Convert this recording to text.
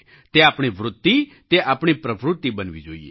તે આપણી વૃત્તિ તે આપણી પ્રવૃત્તિ બનવી જોઈએ